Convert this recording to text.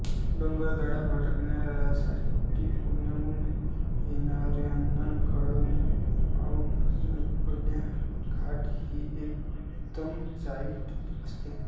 डोंगरदऱ्या भटकण्याऱ्यांसाठी पुण्यहून येणाऱ्यांना केळदमढे घाटउपांड्या घाट ही एक उत्तम चढाई असते